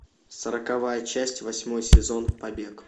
сороковая часть восьмой сезон побег